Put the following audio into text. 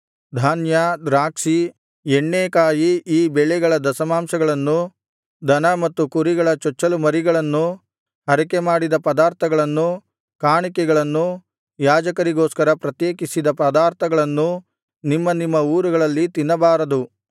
ಧಾನ್ಯ ದ್ರಾಕ್ಷಿ ಎಣ್ಣೇಕಾಯಿ ಈ ಬೆಳೆಗಳ ದಶಮಾಂಶಗಳನ್ನೂ ದನ ಮತ್ತು ಕುರಿಗಳ ಚೊಚ್ಚಲು ಮರಿಗಳನ್ನೂ ಹರಕೆಮಾಡಿದ ಪದಾರ್ಥಗಳನ್ನೂ ಕಾಣಿಕೆಗಳನ್ನೂ ಯಾಜಕರಿಗೋಸ್ಕರ ಪ್ರತ್ಯೇಕಿಸಿದ ಪದಾರ್ಥಗಳನ್ನೂ ನಿಮ್ಮ ನಿಮ್ಮ ಊರುಗಳಲ್ಲಿ ತಿನ್ನಬಾರದು